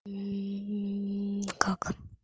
как